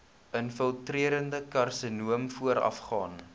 infiltrerende karsinoom voorafgaan